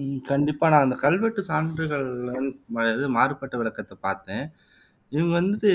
உம் கண்டிப்பா நான் அந்த கல்வெட்டு சான்றுகள் அது மாறுபட்ட விளக்கத்தை பாத்தேன் இது வந்துட்டு